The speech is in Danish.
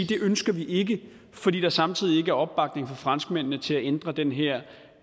det ønsker vi ikke fordi der samtidig ikke er opbakning fra franskmændene til at ændre den her